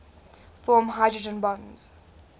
form hydrogen bonds